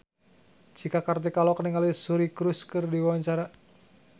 Cika Kartika olohok ningali Suri Cruise keur diwawancara